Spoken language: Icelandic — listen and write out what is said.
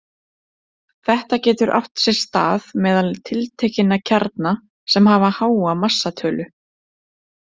Þetta getur átt sér stað meðal tiltekinna kjarna sem hafa háa massatölu.